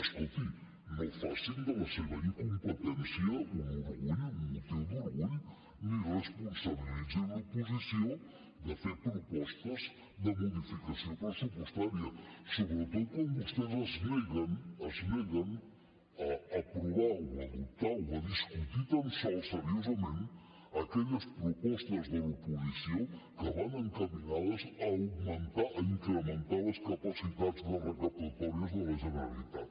escolti no facin de la seva incompetència un orgull un motiu d’orgull ni responsabilitzin l’oposició de fer propostes de modificació pressupostària sobretot quan vostès es neguen es neguen a aprovar o a adoptar o a discutir tan sols seriosament aquelles propostes de l’oposició que van encaminades a augmentar a incrementar les capacitats recaptatòries de la generalitat